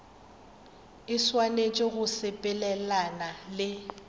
e swanetše go sepelelana le